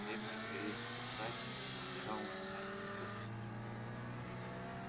древний корейский царь взирал на меня с неодобрением